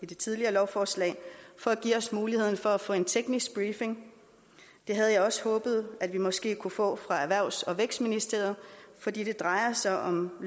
det tidligere lovforslag at give os muligheden for at få en teknisk briefing det havde jeg også håbet at vi måske kunne få fra erhvervs og vækstministeriet fordi det drejer sig om